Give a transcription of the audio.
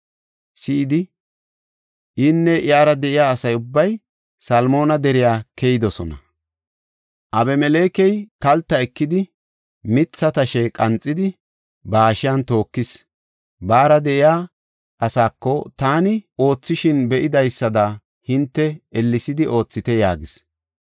si7idi inne iyara de7iya asa ubbay Salmoona deriya keyidosona. Abimelekey kalta ekidi mitha tashe qanxidi, ba hashiyan tookis. Baara de7iya asaako, “Taani oothishin be7idaysada hinte ellesidi oothite” yaagis.